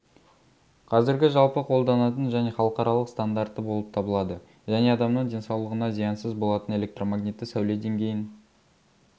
қазіргі жалпы қолданатын және халықаралық стандарты болып табылады және адамның денсаулығына зиянсыз болатын электромагнитті сәуле деңгейін